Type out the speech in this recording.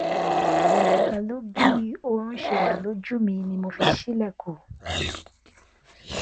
pẹlu bi oorun ṣe wa loju mi ni mo fi ṣilẹkun